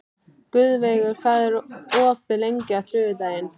Guðveigur, hvað er opið lengi á þriðjudaginn?